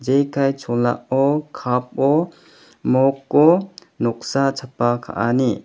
jekai cholao cup-o moko noksa chapa ka·ani.